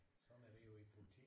Sådan er det jo i politik